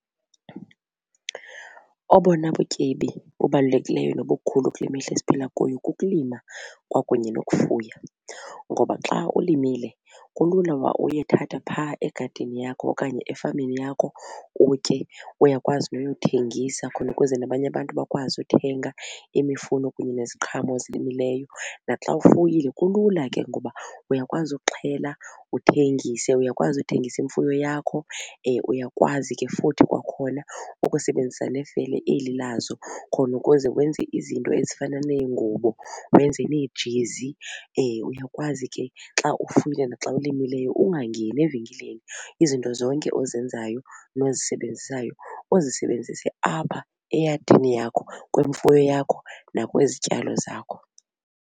Obona butyebi kubalulekileyo nobukhulu kule mihla esiphila kuyo kukulima kwakunye nokufuya ngoba xa ulimile kulula uba uyothatha phaa egadini yakho okanye efameni yakho utye. Uyakwazi noyothengisa khona ukuze nabanye abantu bakwazi uthenga imifuno kunye neziqhamo ozilimileyo. Naxa ufuyile kulula ke ngoba uyakwazi ukuxhela uthengise, uyakwazi ukuthengisa imfuyo yakho, uyakwazi ke futhi kwakhona ukusebenzisa nefele eli lazo khona ukuze wenze izinto ezifana neengubo wenze neejezi. Uyakwazi ke xa ufuya naxa ulimileyo ungangeni evenkileni izinto zonke ozenzayo nozisebenzayo uzisebenzise apha eyadini yakho kwimfuyo yakho nakwizityalo zakho.